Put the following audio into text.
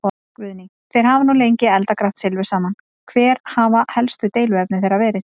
Guðný: Þeir hafa nú lengi eldað grátt silfur saman, hver hafa helstu deiluefni þeirra verið?